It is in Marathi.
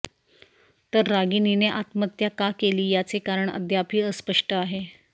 तर रागिनिने आत्महत्या का केली याचे कारण अद्यापही अस्पष्ट आहे